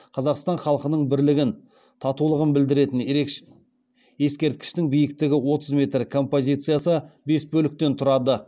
қазақстан халқының бірлігін татулығын білдіретін ескерткіштің биіктігі отыз метр композициясы бес бөліктен тұрады